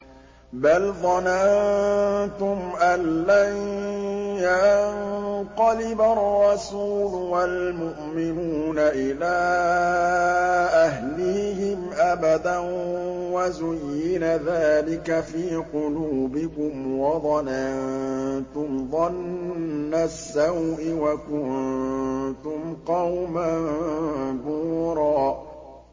بَلْ ظَنَنتُمْ أَن لَّن يَنقَلِبَ الرَّسُولُ وَالْمُؤْمِنُونَ إِلَىٰ أَهْلِيهِمْ أَبَدًا وَزُيِّنَ ذَٰلِكَ فِي قُلُوبِكُمْ وَظَنَنتُمْ ظَنَّ السَّوْءِ وَكُنتُمْ قَوْمًا بُورًا